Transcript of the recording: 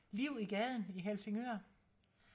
liv i gaden i Helsingør